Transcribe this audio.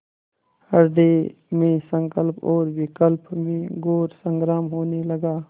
हृदय में संकल्प और विकल्प में घोर संग्राम होने लगा